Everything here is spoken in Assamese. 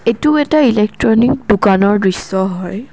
এইটো এটা ইলেকট্ৰনিক দোকানৰ দৃশ্য হয়।